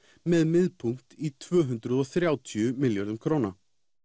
með miðpunkt í tvö hundruð og þrjátíu milljörðum króna